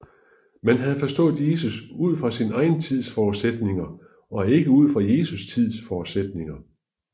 Man havde forstået Jesus ud fra sin egen tids forudsætninger og ikke ud fra Jesu tids forudsætninger